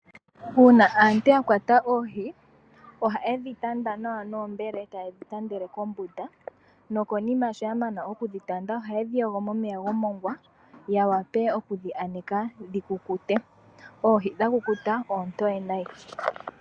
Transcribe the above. Uuna aantu yakwata oohi ohayedhi tanda nawa noombele tayedhi tandele kombunda, nokonima shoyamana okudhitanda ohayedhi yogo momeya gomongwa yawape okudhi aneka dhikukute. Oohi dhakukuta oontoye nayi.